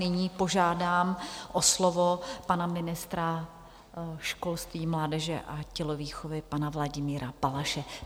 Nyní požádám o slovo pana ministra školství, mládeže a tělovýchovy, pana Vladimíra Balaše.